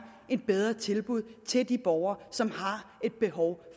et bedre tilbud til de borgere som har et behov